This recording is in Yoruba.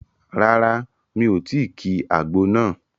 Rárá, mi ò tí ki àgbo náà